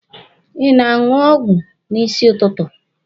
Ị na-aṅụ ọgwụ n'isi ụtụtụ?